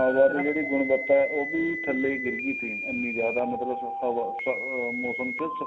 ਹਵਾ ਦੀ ਜਿਹੜੀ ਗੁਣਵਤਾ ਉਹ ਵੀ ਥੱਲੇ ਗਿਰ ਗਈ ਸੀ ਇਹਨੀ ਜਿਆਦਾ ਮਤਲਬ ਹਵਾ ਅਹ ਮੋਸਮ ਚ ਸਫਾਈ